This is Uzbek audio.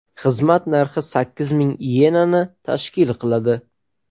Xizmat narxi sakkiz ming iyenani tashkil qiladi.